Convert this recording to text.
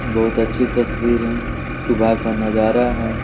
बहुत अच्छी तस्वीर हैं सुबह का नजारा हैं।